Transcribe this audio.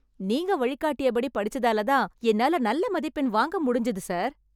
நீங்க வழிகாட்டியபடி படிச்சதாலதான் என்னால நல்ல மதிப்பெண் வாங்க முடிஞ்து சார்.